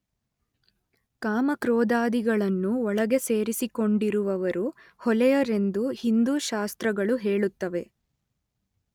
ಕಾಮ ಕ್ರೋಧಾದಿಗಳನ್ನು ಒಳಗೆ ಸೇರಿಸಿಕೊಂಡಿರುವವರು ಹೊಲೆಯರೆಂದು ಹಿಂದೂ ಶಾಸ್ತ್ರಗಳು ಹೇಳುತ್ತವೆ.